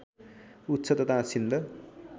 उच्छ तथा सिन्ध